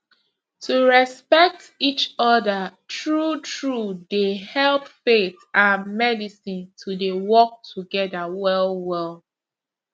to respect each other true truedey help faith and medicine to dey work together well well